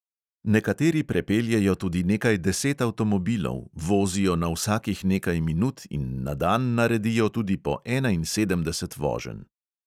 Nekateri prepeljejo tudi nekaj deset avtomobilov, vozijo na vsakih nekaj minut in na dan naredijo tudi po enainsedemdeset voženj.